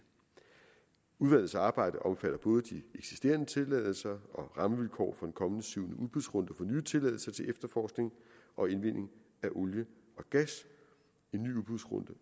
udvalgets arbejde omfatter både de eksisterende tilladelser og rammevilkår for den kommende syvende udbudsrunde for nye tilladelser til efterforskning og indvinding af olie og gas en ny udbudsrunde